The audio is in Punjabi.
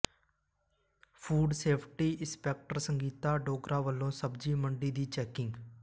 food safety inspector Sangeeta Dogra ਵੱਲੋਂ ਸਬਜ਼ੀ ਮੰਡੀ ਦੀ ਚੈਕਿੰਗ